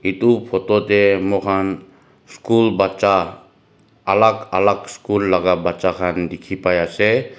etu photo teh moikhan school baccha alag alag school laga baccha khan dikhi pai ase.